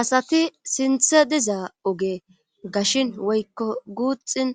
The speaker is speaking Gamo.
Asati sinthe diza oge gashin woykko guuxin